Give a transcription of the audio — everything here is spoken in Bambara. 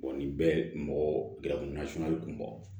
nin bɛɛ ye mɔgɔ garibu nasuguya ye i kun bɔ